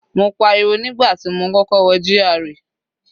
Mo pariwo nígbà tí mo kọ́kọ́ wọ GRA.